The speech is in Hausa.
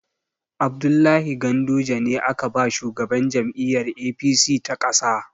Abdullahi Ganduje ne aka ba shugaban jam'iyyar APC ta ƙasa.